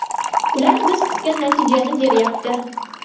Ular biz kutgan natijani beryapti.